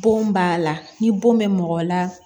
Bon b'a la ni bon bɛ mɔgɔ la